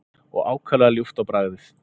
og ákaflega ljúft á bragðið.